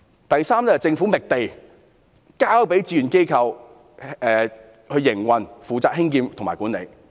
第三，政府覓地，交由志願機構負責興建、營運及管理。